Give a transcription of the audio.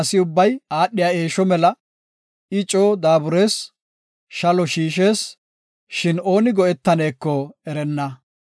Tuma asi aadhiya eesho mela; I coo daaburees; shalo shiishees; shin ooni go7etaneko erenna.